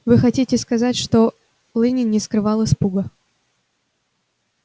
вы хотите сказать что лэннинг не скрывал испуга